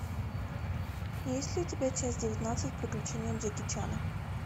есть ли у тебя часть девятнадцать приключения джеки чана